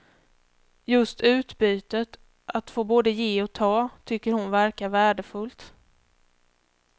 Just utbytet, att få både ge och ta, tycker hon verkar värdefullt.